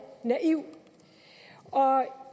naiv